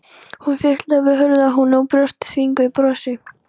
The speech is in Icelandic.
Hún fitlaði við hurðarhúninn og brosti þvinguðu brosi.